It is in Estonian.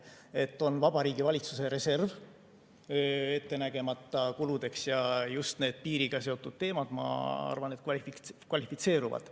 On olemas Vabariigi Valitsuse reserv ettenägemata kuludeks ja just need piiriga seotud teemad, ma arvan, selleks kvalifitseeruvad.